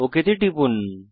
okay তে টিপুন